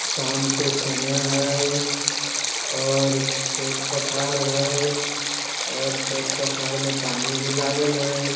शाम के समय हई और खेत-पथार हई और खेत-पथार में पानी भी लागल हई।